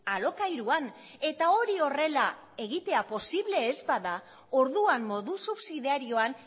alokairuan eta hori horrela egitea posible ez bada orduan modu subsidiarioan